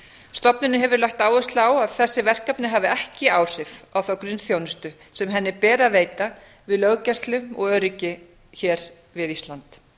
stofnunin hefur lagt áherslu á að þessi verkefni hafi ekki áhrif á þá grunnþjónustu sem henni ber að veita við löggæslu og öryggi hér við ísland